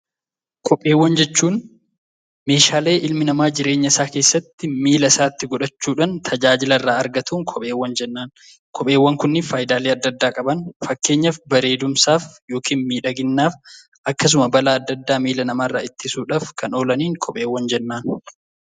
Kopheewwan jechuun meeshaalee ilmi namaa jireenya isaa keessatti miilla isaatti godhachuudhaan tajaajila irraa argatuun kopheewwan jenna. Kopheewwan kuni faayidaalee adda addaa qaban. Fakkeenyaaf, bareedumsaaf yookiin miidhaginaaf akkasuma balaa adda addaa miila namaarraa ittisuudhaaf kan oolaniin kopheewwan jennaan.